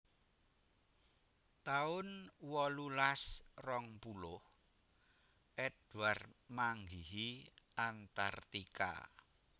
taun wolulas rong puluh Edward manggihi Antartika